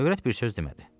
Övrət bir söz demədi.